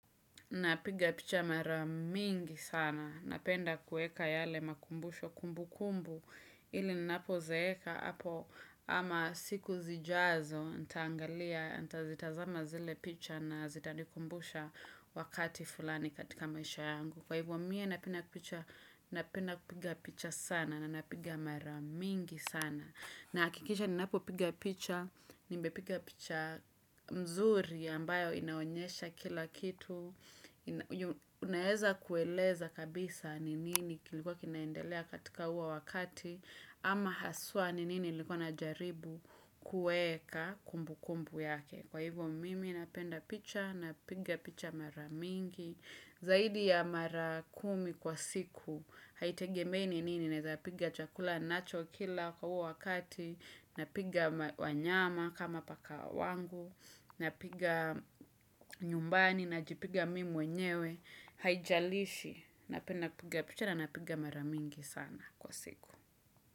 Napiga picha maramingi sana, napenda kueka yale makumbusho kumbu kumbu, ili nnapo zeeka, ama siku zijazo, ntangalia, ntazitazama zile picha na zitadikumbusha wakati fulani katika maisha yangu. Kwa hivyo mimi napenda picha sana na napiga maramingi sana na akikisha ninapo piga picha, nimbe piga picha mzuri ambayo inaonyesha kila kitu Unaeza kueleza kabisa ninini kilikuwa kinaendelea katika uwa wakati ama haswa ninini likuwa na jaribu kueka kumbu kumbu yake Kwa hivyo mimi napenda picha na piga picha maramingi Zaidi ya mara kumi kwa siku, haitegemei ninini na zapiga chakula nacho kila kwa wakati, napiga wanyama kama paka wangu, napiga nyumbani na jipiga mimi mwenyewe, haijalishi napenda kupiga picha naninapiga maramingi sana kwa siku.